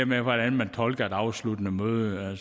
med hvordan man tolker et afsluttende møde